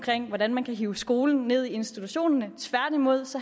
hvordan man kan hive skolen ned i institutionerne tværtimod